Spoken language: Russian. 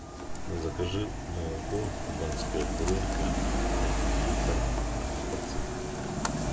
закажи молоко кубанская буренка один литр однопроцентный